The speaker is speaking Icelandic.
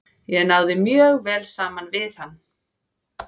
Ég náði mjög vel saman við hann.